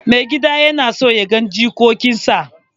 Maigida na son ya ga jikokinsa.